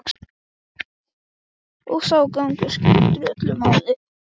Og sá gangur skiptir öllu máli.